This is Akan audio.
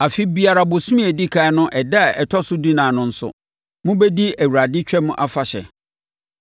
“ ‘Afe biara bosome a ɛdi ɛkan no ɛda a ɛtɔ so dunan no nso, mobɛdi Awurade Twam Afahyɛ no.